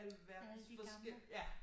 Alle de gamle